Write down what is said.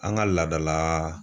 An ka laada la